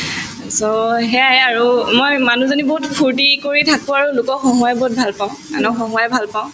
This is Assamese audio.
so, সেয়ায়ে আৰু মই মানুহজনী বহুত ফূৰ্তি কৰি থাকো আৰু লোকক হহুঁৱাই বহুত ভাল পাওঁ আনক হহুঁৱাই ভাল পাওঁ